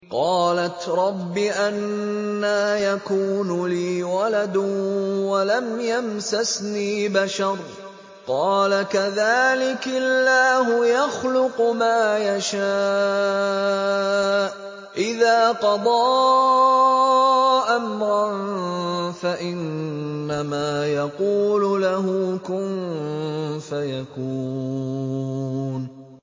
قَالَتْ رَبِّ أَنَّىٰ يَكُونُ لِي وَلَدٌ وَلَمْ يَمْسَسْنِي بَشَرٌ ۖ قَالَ كَذَٰلِكِ اللَّهُ يَخْلُقُ مَا يَشَاءُ ۚ إِذَا قَضَىٰ أَمْرًا فَإِنَّمَا يَقُولُ لَهُ كُن فَيَكُونُ